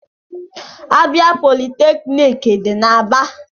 Abịa politeknik dị n'Aba